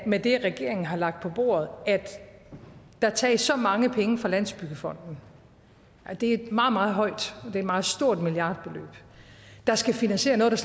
med det regeringen har lagt på bordet at der tages så mange penge fra landsbyggefonden det er meget meget højt et meget stort milliardbeløb der skal finansiere noget der